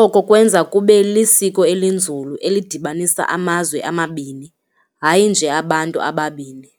Oko kwenza kube lisiko elinzulu elidibanisa amazwe amabini, hayi nje abantu ababini.